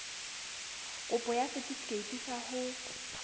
kopo ya setefikeiti sa ho